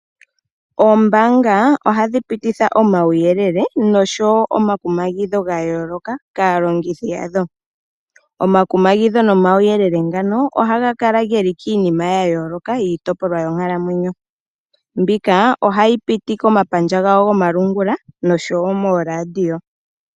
Oombanga ohadhi pititha omauyelele nosho woo omakumagidho gayoloka kalongitha yadho. Omakumagidho nomauyelele ngano ohaga kala geli kiinima ya yooloka yiitopolwa yonkalamwenyo, mbika ohayi piti komapandja gawo gomalungula nosho woo mooradio.